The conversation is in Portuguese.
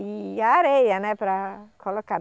E a areia, né, para colocar.